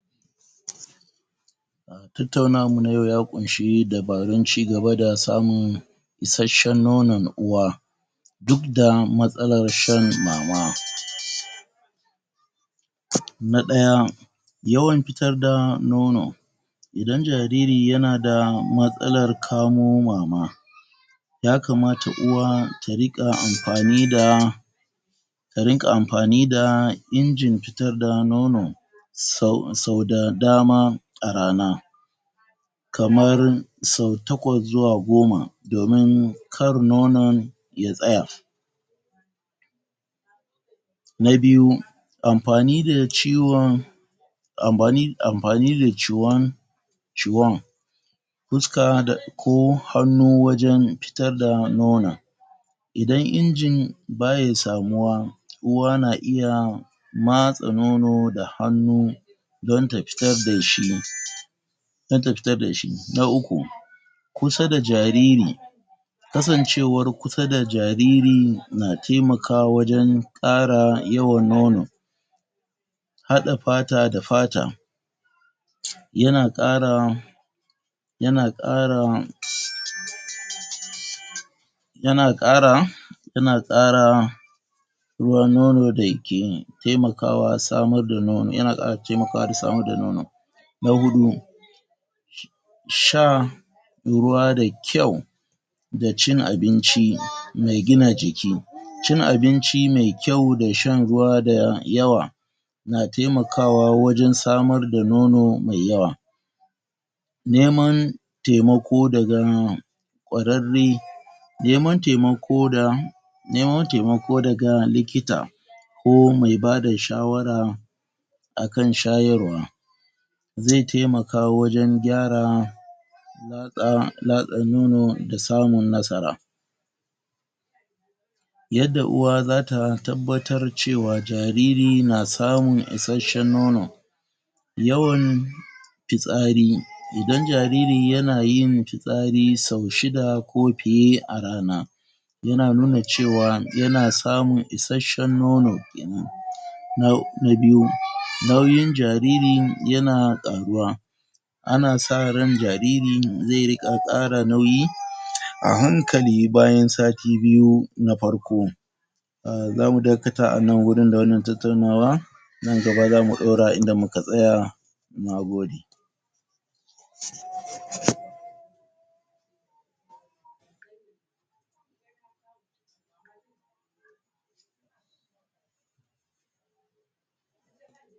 Tattaunawar mu na yau ya ƙunshi dubarun cigaba da samun ishashshen nonon uwa duk da matsalar shan mama na ɗaya yauwan fitar da nono idan jariri yana da matsalar kamo mama yakamata uwa ta riƙa amfani da ta riƙa amfani da injin fitar da nono sau, sauda dama a rana kamar sau takwas zuwa goma domin kar nonon ya tsaya na biyu amfani da ciwon amfan amfani da ciwon ciwon fuska da ko hannu wajan fitar da nonon idan injin baya samuwa uwa na iya matsa nono da hannu don ta fitar dashi don ta fitar dashi, na uku kusa da jariri kasancewar kusa da jariri na taimakwawa wajan ƙara yawan nono haɗa fata da fata yana ƙara yana ƙara yana ƙara yana ƙara ruwan nono dake taimakawa samar da nono, yana ƙara taimakawa samar da nono na huɗu sha shan ruwa da kyau da cikin abinci mai gina jiki cikin abinci mai kyau da shan ruwa da yawa na taiamakawa wajan samar da nono mai yawa neman taimako daga kwararre neman taimako da neman taimako daga likita ko mai bada shawara akan shayarwa zai taimaka wajan gyara latsa, latsa nono, da samun nasara yadda uwa zata tabbatar cewa jariri na samun issashshen nono yawan yawan fitsari idan jariri yana yin fitsari sau shida ko fiye a rana yana nuna cewa yana samun issashshen nono kenan na biyu, nauyin jariri yana ƙaruwa ana sa ran jariri zai riƙa ƙara nauyi a hankali bayan sati biyu na farko zamu dakata a nan wurin da wannan tattaunawa nan gaba zamu ɗora inda muka tsaya, nagode.